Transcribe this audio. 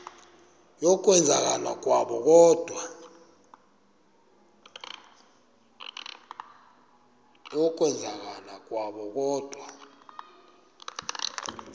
yokwenzakala kwabo kodwa